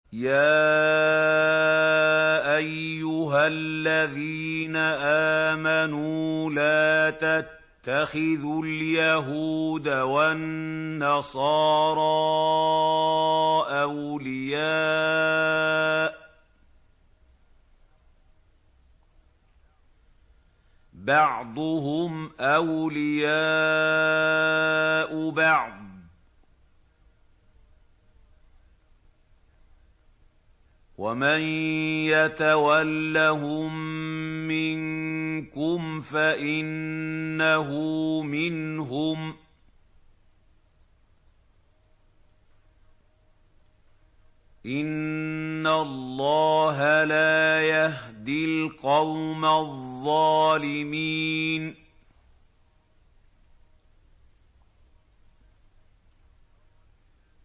۞ يَا أَيُّهَا الَّذِينَ آمَنُوا لَا تَتَّخِذُوا الْيَهُودَ وَالنَّصَارَىٰ أَوْلِيَاءَ ۘ بَعْضُهُمْ أَوْلِيَاءُ بَعْضٍ ۚ وَمَن يَتَوَلَّهُم مِّنكُمْ فَإِنَّهُ مِنْهُمْ ۗ إِنَّ اللَّهَ لَا يَهْدِي الْقَوْمَ الظَّالِمِينَ